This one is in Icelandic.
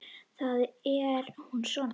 Þar er hún svona